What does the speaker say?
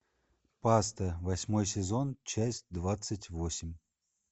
паста восьмой сезон часть двадцать восемь